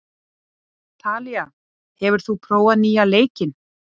Talía, hefur þú prófað nýja leikinn?